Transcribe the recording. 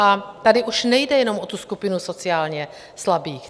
A tady už nejde jenom o tu skupinu sociálně slabých.